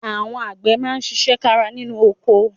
Àwọn àgbẹ̀ máa ṣiṣẹ́ kára nínú oko